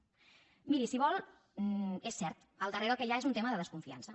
miri si ho vol és cert al darrere el que hi ha és un tema de desconfiança